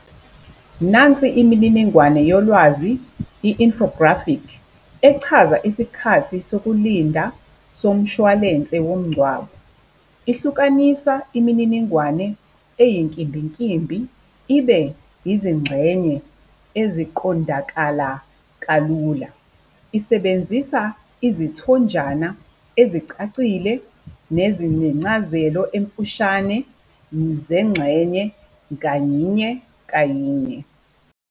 Nansi imininingwane yolwazi i-infographic echaza isikhathi sokulinda somshwalense womngcwabo ihlukanisa imininingwane eyinkimbinkimbi ibe yizingxenye eziqondakala kalula, isebenzisa izithonjana ezicacile nezinencazelo emfushane zengxenye kanye kanye.